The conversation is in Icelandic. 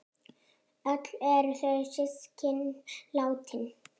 Öll eru þau systkin látin.